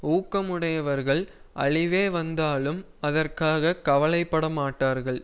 ஊக்கமுடையவர்கள் அழிவே வந்தாலும் அதற்காக கவலை படமாட்டார்கள்